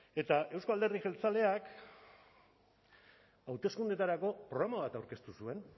eta euzko alderdi jeltzaleak hauteskundeetarako programa bat aurkeztu zuen